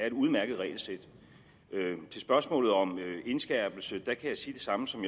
et udmærket regelsæt til spørgsmålet om indskærpelse kan jeg sige det samme som